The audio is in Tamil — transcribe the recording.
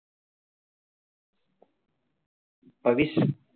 பவிஸ்